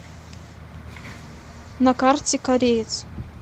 на карте кореец